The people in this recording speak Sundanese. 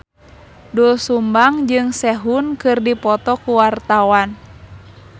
Doel Sumbang jeung Sehun keur dipoto ku wartawan